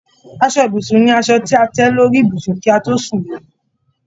Aṣọ ibùsùn ni aṣọ ti a tẹ lórí ibùsùn kí a to sún le